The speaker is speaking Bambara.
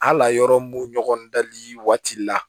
Hali yɔrɔ mun ɲɔgɔn dali waati la